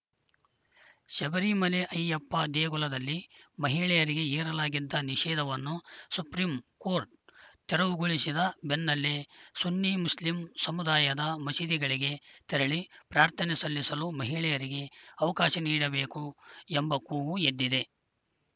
ಶಬರಿಮಲೆ ಅಯ್ಯಪ್ಪ ದೇಗುಲದಲ್ಲಿ ಮಹಿಳೆಯರಿಗೆ ಹೇರಲಾಗಿದ್ದ ನಿಷೇಧವನ್ನು ಸುಪ್ರೀಂ ಕೋರ್ಟ್‌ ತೆರವುಗೊಳಿಸಿದ ಬೆನ್ನಲ್ಲೇ ಸುನ್ನಿ ಮುಸ್ಲಿಂ ಸಮುದಾಯದ ಮಸೀದಿಗಳಿಗೆ ತೆರಳಿ ಪ್ರಾರ್ಥನೆ ಸಲ್ಲಿಸಲು ಮಹಿಳೆಯರಿಗೆ ಅವಕಾಶ ನೀಡಬೇಕು ಎಂಬ ಕೂಗು ಎದ್ದಿದೆ